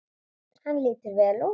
Hann lítur vel út.